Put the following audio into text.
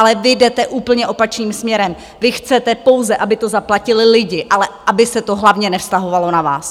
Ale vy jdete úplně opačným směrem, vy chcete pouze, aby to zaplatili lidi, ale aby se to hlavně nevztahovalo na vás.